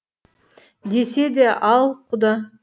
десе де ал құда